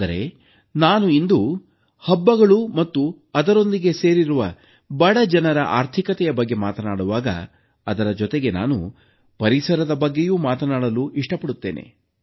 ಆದರೆ ನಾನು ಇಂದು ಹಬ್ಬಗಳು ಮತ್ತು ಅದರೊಂದಿಗೆ ಸೇರಿರುವ ಬಡಜನರ ಆರ್ಥಿಕತೆಯ ಬಗ್ಗೆ ಮಾತಾಡುವಾಗ ಅದರ ಜೊತೆಗೆ ಪರಿಸರದ ಬಗ್ಗೆಯೂ ಮಾತನಾಡಲು ಇಷ್ಟಪಡುತ್ತೇನೆ